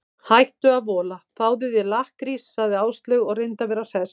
Hættu að vola, fáðu þér lakkrís sagði Áslaug og reyndi að vera hress.